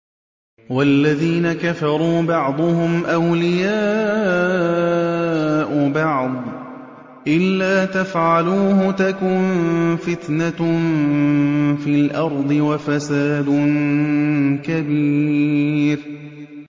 وَالَّذِينَ كَفَرُوا بَعْضُهُمْ أَوْلِيَاءُ بَعْضٍ ۚ إِلَّا تَفْعَلُوهُ تَكُن فِتْنَةٌ فِي الْأَرْضِ وَفَسَادٌ كَبِيرٌ